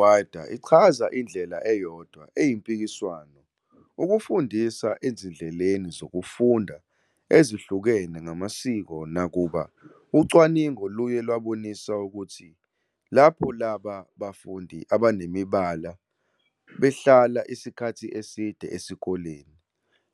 I-Fullinwider ichaza indlela eyodwa eyimpikiswano- ukufundisa ezindleleni zokufunda ezihlukene ngamasiko Nakuba ucwaningo luye lwabonisa ukuthi "lapho laba bafundi abanemibala behlala isikhathi eside esikoleni,